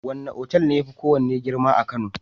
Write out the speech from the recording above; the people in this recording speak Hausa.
Wane otal ne yafi kowane girma a kano?